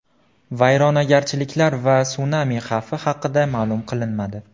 Vayronagarchiliklar va sunami xavfi haqida ma’lum qilinmadi.